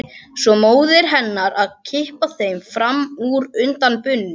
Svo móðir hennar að kippa þeim fram úr undan bununni.